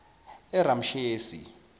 eramshesi